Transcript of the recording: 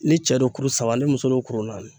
Ni cɛ do kuru saba ni muso do kurun naani